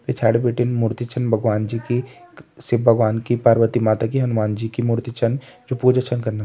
पिछाड़ी बटिन मूर्ति छन भगवान जी की शिव भवन की पार्वती माता की हनुमान जी की मूर्ति छन जो पूजा छन कनना।